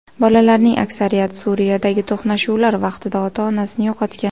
Bolalarning aksariyati Suriyadagi to‘qnashuvlar vaqtida ota-onasini yo‘qotgan.